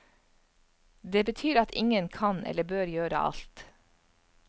Det betyr at ingen kan eller bør gjøre alt.